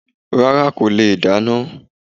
Rárá kò lè dáná